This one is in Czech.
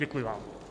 Děkuji vám.